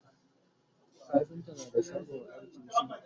kafinta na da shagon aikin shi